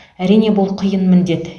әрине бұл қиын міндет